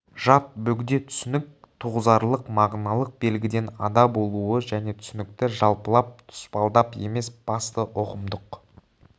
жат бөгде түсінік туғызарлық мағыналық белгіден ада болуы және түсінікті жалпылап тұспалдап емес басты ұғымдық